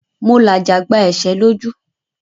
Mo làjà gba ẹ̀ṣẹ́ lójú.